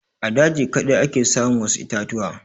A daji kaɗai ake samun wasu itatuwa.